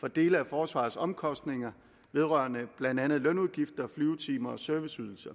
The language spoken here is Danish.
for dele af forsvarets omkostninger vedrørende blandt andet lønudgifter flyvetimer og serviceydelser